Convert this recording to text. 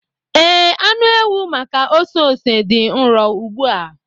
Ee, anụ ewu maka ose ose dị nro ugbu a.